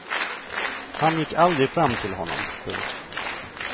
Han gick aldrig fram till honom. punkt